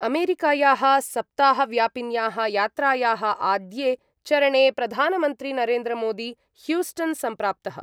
अमेरिकायाः सप्ताहव्यापिन्याः यात्रायाः आद्ये चरणे प्रधानमन्त्री नरेन्द्रमोदी ह्यूस्टन् संप्राप्तः।